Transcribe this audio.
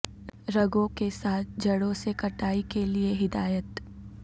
رگوں کے ساتھ جڑوں سے کٹائی کے لئے ہدایت